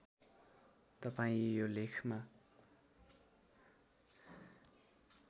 तपाईँ यो लेखमा